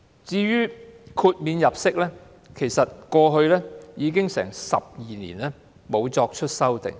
至於豁免入息方面，已經12年沒有作出修訂。